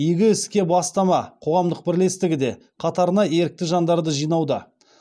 игі іске бастама қоғамдық бірлестігі де қатарына ерікті жандарды жинауда